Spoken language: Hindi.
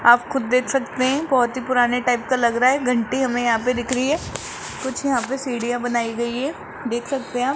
आप खुद देख सकते हैं बहुत ही पुराने टाइप का लग रहा है घंटी हमें यहां पे दिख रही है कुछ यहां पर सीढ़ियां बनाई गई है देख सकते हैं आप।